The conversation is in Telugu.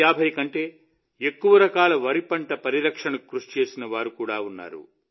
650 కంటే ఎక్కువ రకాల వరిపంట పరిరక్షణకు కృషి చేసిన వారు కూడా ఉన్నారు